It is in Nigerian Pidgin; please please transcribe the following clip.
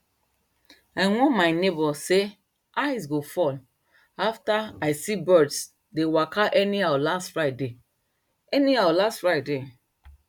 i warn my neighbour sey ice go fall after i see birds dey waka anyhow last friday anyhow last friday